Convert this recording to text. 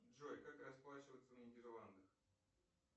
джой как расплачиваться в нидерландах